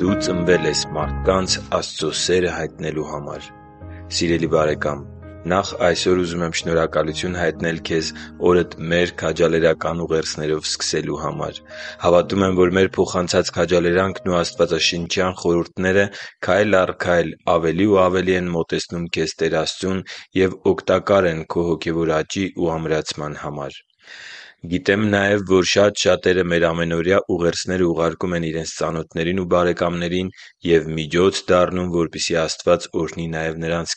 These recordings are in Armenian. Դու ծնվել ես մարդկանց Աստծո սերը հայտնելու համար Սիրելի՛ բարեկամ, նախ այսօր ուզում եմ շնորհակալություն հայտնել քեզ օրդ մեր քաջալերական ուղերձներով սկսելու համար։ Հավատում եմ, որ մեր փոխանցած քաջալերանքն ու աստվածաշնչյան խորհուրդները քայլ առ քայլ ավելի ու ավելի են մոտեցնում քեզ Տեր Աստծուն և օգտակար են քո հոգևոր աճի ու ամրացման համար։ Գիտեմ նաև, որ շատ շատերը մեր ամենօրյա ուղերձները ուղարկում են իրենց ծանոթներին ու բարեկամներին և միջոց դառնում, որպեսզի Աստված օրհնի նաև նրանց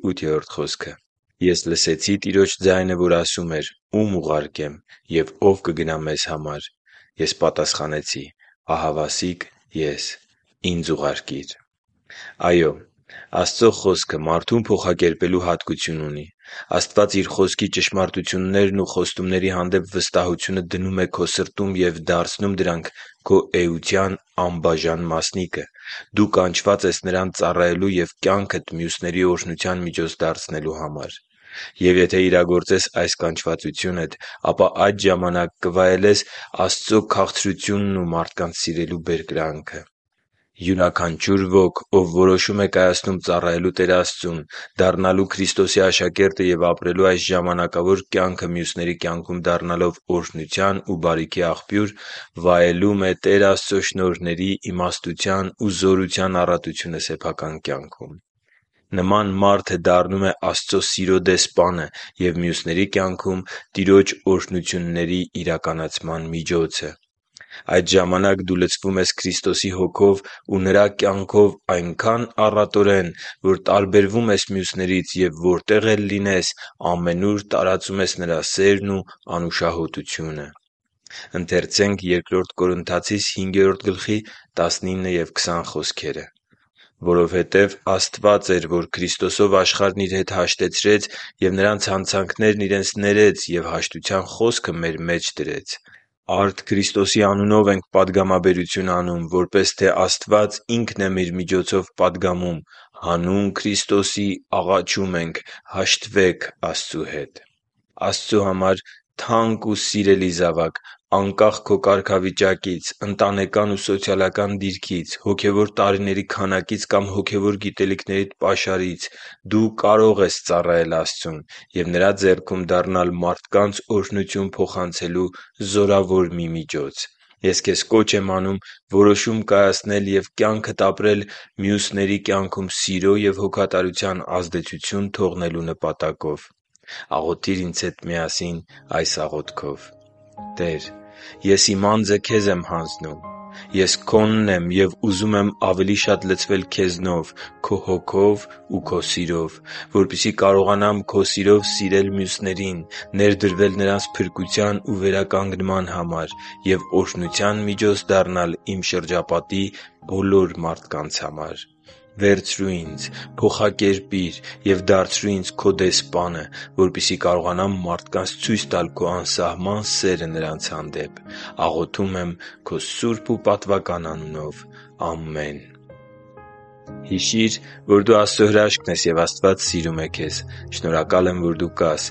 կյանքերը։ «Ես լսեցի Տիրոջ ձայնը, որ ասում էր. «Ո՞ւմ ուղարկեմ, և ո՞վ կգնա մեզ համար»։ Ես պատասխանեցի. «Ահավասիկ ես, ի՛նձ ուղարկիր» (Եսայիա 6․8)։ Այո՛, Աստծո Խոսքը մարդուն փոխակերպելու հատկություն ունի։ Աստված Իր Խոսքի ճշմարտություններն ու խոստումների հանդեպ վստահությունը դնում է քո սրտում և դարձնում դրանք քո էության անբաժան մասնիկը։ Դու կանչված ես Նրան ծառայելու և կյանքդ մյուսների օրհնության միջոց դարձնելու համար։ Եվ եթե իրագործես այս կանչվածությունդ, ապա այդ ժամանակ կվայելես Աստծո քաղցրությունն ու մարդկանց սիրելու բերկրանքը։ Յուրաքանչյուր ոք, ով որոշում է կայացնում ծառայելու Տեր Աստծուն, դառնալու Քրիստոսի աշակերտը և ապրելու այս ժամանակավոր կյանքը մյուսների կյանքում դառնալով օրհնության ու բարիքի աղբյուր, վայելում է Տեր Աստծո շնորհների, իմաստության ու զորության առատությունը սեփական կյանքում։ Նման մարդը դառնում է Աստծո սիրո դեսպանը և մյուսների կյանքում Տիրոջ օրհնությունների իրականացման միջոցը։ Այդ ժամանակ դու լցվում ես Քրիստոսի Հոգով ու Նրա կյանքով այնքա՜ն առատորեն, որ տարբերվում ես մյուսներից և, որտեղ էլ լինես, ամենուր տարածում ես Նրա սերն ու անուշահոտությունը։ «Որովհետև Աստված էր, որ Քրիստոսով աշխարհն իր հետ հաշտեցրեց և նրանց հանցանքներն իրենց ներեց և հաշտության խոսքը մեր մեջ դրեց։ Արդ Քրիստոսի անունով ենք պատգամաբերություն անում, որպես թե Աստված Ինքն է մեր միջոցով պատգամում. հանուն Քրիստոսի աղաչում ենք, հաշտվե՛ք Աստծու հետ» (Բ Կորնթացիս 5․19-20)։ Աստծո համար թանկ ու սիրելի՛ զավակ, անկախ քո կարգավիճակից, ընտանեկան ու սոցիալական դիրքից, հոգևոր տարիների քանակից կամ հոգևոր գիտելիքներիդ պաշարից, դու կարող ես ծառայել Աստծուն և Նրա ձեռքում դառնալ մարդկանց օրհնություն փոխանցելու զորավոր մի միջոց։ Ես քեզ կոչ եմ անում որոշում կայացնել և կյանքդ ապրել մյուսների կյանքում սիրո և հոգատարության ազդեցություն թողնելու նպատակով։ Աղոթի՛ր ինձ հետ միասին այս աղոթքով․ «Տե՛ր, ես իմ անձը Քեզ եմ հանձնում։ Ես Քոնն եմ և ուզում եմ ավելի շատ լցվել Քեզնով՝ Քո Հոգով ու Քո սիրով, որպեսզի կարողանամ Քո սիրով սիրել մյուսներին, ներդրվել նրանց փրկության ու վերականգնման համար և օրհնության միջոց դառնալ իմ շրջապատի բոլոր մարդկանց համար։ Վերցրո՛ւ ինձ, փոխակերպի՛ր և դարձրո՛ւ ինձ Քո դեսպանը, որպեսզի կարողանամ մարդկանց ցույց տալ Քո անսահման սերը նրանց հանդեպ։ Աղոթում եմ Քո սուրբ ու պատվական անունով։ Ամե՛ն»։ Հիշի՛ր, որ դու Աստծո հրաշքն ես, և Աստված սիրում է քեզ։ Շնորհակալ եմ, որ դու կա՛ս